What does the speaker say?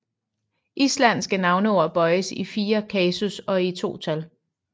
Islandske navneord bøjes i fire kasus og to tal